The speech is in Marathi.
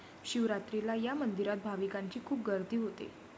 शिवरात्रीला या मंदिरात भाविकांची खूप गर्दी होते.